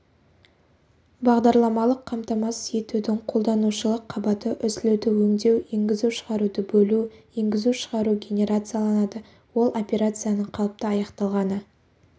бағдарламалық қамтамасыз етудің қолданушылық қабаты үзілуді өңдеу енгізу-шығаруды бөлу енгізу-шығару генерацияланады ол операцияның қалыпты аяқталғаны